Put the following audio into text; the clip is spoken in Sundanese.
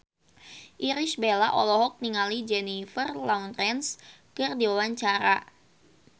Irish Bella olohok ningali Jennifer Lawrence keur diwawancara